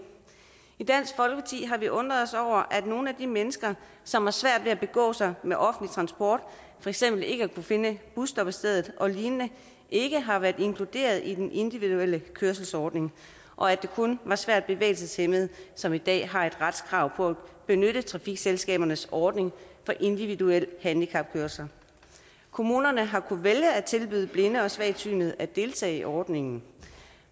i har vi undret os over at nogle af de mennesker som har svært ved at begå sig med offentlig transport for eksempel ved ikke at kunne finde busstoppestedet og lignende ikke har været inkluderet i den individuelle kørselsordning og at det kun er svært bevægelseshæmmede som i dag har et retskrav på at benytte trafikselskabernes ordning for individuel handicapkørsel kommunerne har kunnet vælge at tilbyde blinde og svagsynede at deltage i ordningen